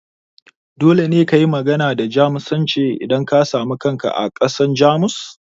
Dole ne kayi magana da Jamusanci idan ka samu kanka a ƙasar Jamus?